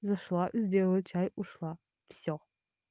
зашла сделала чай ушла все